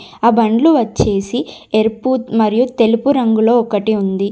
ఆ బండ్లు వచ్చేసి ఎరుపు మరియు తెలుపు రంగులో ఒకటి ఉంది.